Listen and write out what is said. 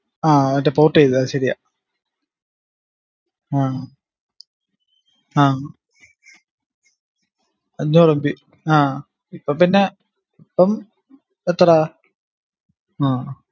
ആഹ് മറ്റേ port ചെയ്തത് അത് ശരിയാ ആഹ് ആഹ് അഞ്ഞൂറ് mb ആ ഇപ്പം പിന്ന ഇപ്പം എത്ര ആഹ്